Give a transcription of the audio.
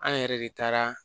An yɛrɛ de taara